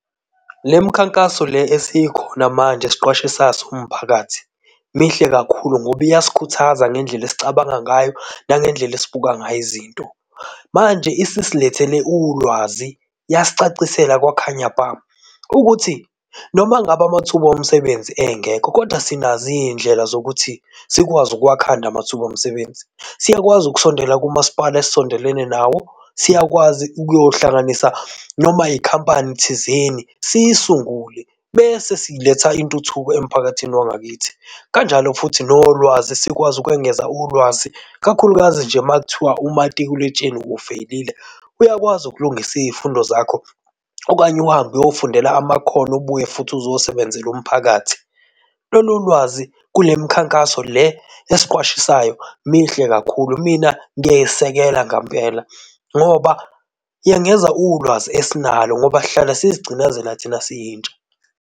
Lemikhankaso le esikhona manje esiqwashisayo siwumphakathi mihle kakhulu ngoba iyasikhuthaza ngendlela esicabanga ngayo nangendlela esibuka ngayo izinto. Manje isisilethele ulwazi, yasicacisela kwakhanya bha, ukuthi noma ngabe amathuba omsebenzi engekho, kodwa sinazo izindlela zokuthi sikwazi ukuwakhanda amathuba omsebenzi. Siyakwazi ukusondela kumaspala esisondelene nawo. Siyakwazi ukuyohlanganisa noma ikhampani thizeni siyisungule bese siletha intuthuko emphakathini wangakithi. Kanjalo futhi nolwazi sikwazi ukwengeza ulwazi, kakhulukazi nje makuthiwa umatikuletsheni uwufeyilile, uyakwazi ukulungisa izifundo zakho okanye uhambe, uyofundela amakhono ubuye futhi uzosebenzela umphakathi. Lolu lwazi kule mikhankaso le esiqwashisayo mihle kakhulu. Mina ngiyayesekela ngampela ngoba yengeza ulwazi esinalo ngoba sihlala sizigcinazela thina siyintsha.